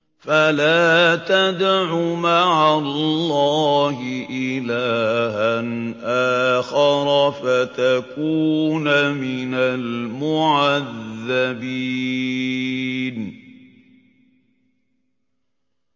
فَلَا تَدْعُ مَعَ اللَّهِ إِلَٰهًا آخَرَ فَتَكُونَ مِنَ الْمُعَذَّبِينَ